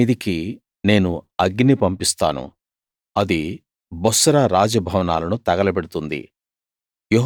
తేమాను మీదికి నేను అగ్ని పంపిస్తాను అది బొస్రా రాజ భవనాలను తగలబెడుతుంది